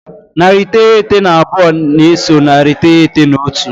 Narị iteghete na abụọ na-eso narị iteghete na otu.